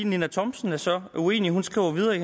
ninna thomsen så er uenig hun skriver videre i